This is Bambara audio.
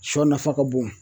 Sɔ nafa ka bon.